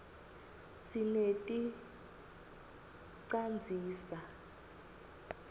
sineti canzisa